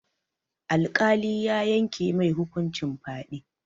Alƙali ya yanke mai hukuncin fyaɗe.